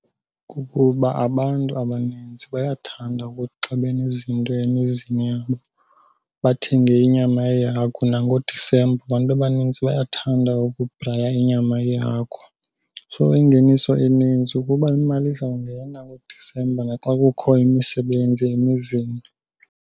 Kukuba abantu abanintsi bayathanda ukuthi xa benezinto emizini yabo bathenge inyama yehagu. NangoDisemba, abantu abanintsi bayathanda ukubhraya inyama yehagu. So ingeniso eninzi kukuba imali izawungena ngoDisemba naxa kukho imisebenzi emizini.